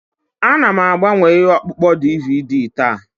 Ana m agbanwe ihe ọkpụkpọ DVD taa.